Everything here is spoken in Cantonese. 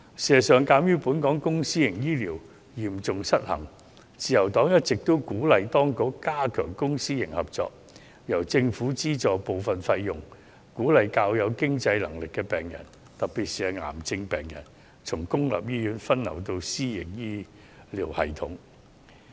事實上，鑒於香港公私營醫療嚴重失衡，自由黨一直鼓勵當局加強公私營合作，由政府資助部分費用，鼓勵較有經濟能力的病人，特別是癌症病人，從公營醫院分流到私營醫療系統。